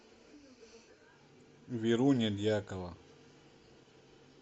веруня дьякова